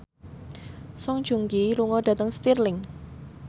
Song Joong Ki lunga dhateng Stirling